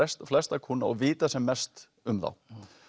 flesta kúnna og vita sem mest um þá